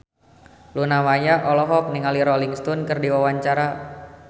Luna Maya olohok ningali Rolling Stone keur diwawancara